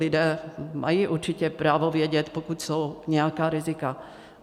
Lidé mají určitě právo vědět, pokud jsou nějaká rizika.